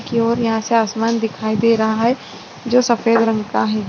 और यहां से आसमान दिखाई दे रहा है जो सफेद रंग का है।